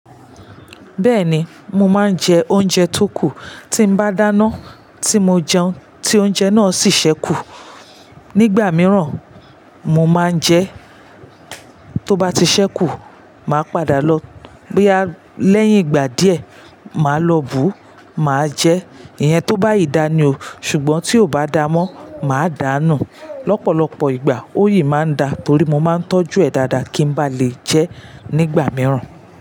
Bẹ́ẹ̀ni, mo máa ń jẹ oúnjẹ tó kù. Tí n bá dáná, tí mo jẹun, tí oúnjẹ náà sì ṣẹ́kù. Nígbà mìíràn, mo máa ń jẹ tó bá ti ṣẹ́kù, màá padà lọ. Léyìn ìgbà díẹ̀, màá lọ bù, màá jẹ. Ìyẹn tó bá yí dání o. Ṣùgbọ́n tí ò bá da mọ́, mà á dánu. Lọ́pọ̀lọ́pọ̀ ìgbà, ó yìí máa ń da torí mo máa ń tọ́jú ẹ̀ dáadáa kí n bá lè jẹ nígbà mìíràn.